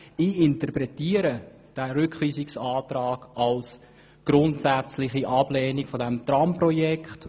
Ich interpretiere den Rückweisungsantrag als grundsätzliche Ablehnung des Tramprojekts.